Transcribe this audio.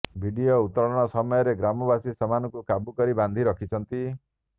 video ଉତ୍ତୋଳନ ସମୟରେ ଗ୍ରାମବାସୀ ସେମାନଙ୍କୁ କାବୁ କରି ବାନ୍ଧି ରଖିଛନ୍ତି